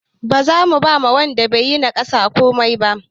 Ba za mu ba wanda yayi na ƙarshe komai ba.